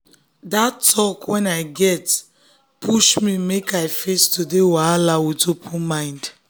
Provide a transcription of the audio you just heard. that talk wey i get push me make i face today wahala with open mind.